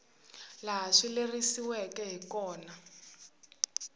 laha swi lerisiweke hi kona